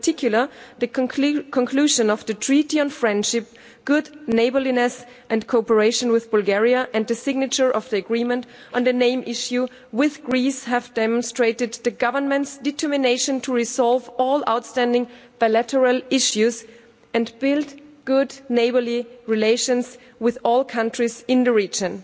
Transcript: In particular, the conclusion of the Treaty on Friendship, Good Neighbourliness and Cooperation with Bulgaria, and the signature of the agreement on the name issue with Greece, have demonstrated the government's determination to resolve all outstanding bilateral issues and build good neighbourly relations with all countries in the region.